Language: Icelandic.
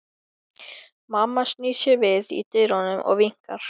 Mamma snýr sér við í dyrunum og vinkar.